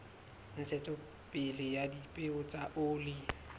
ntshetsopele ya dipeo tsa oli